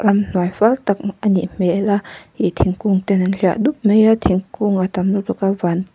inhnuai fâl tak a nih hmêl a ih thingkûng ten an hliah dup mai a thingkûng a tam lutuk a vân--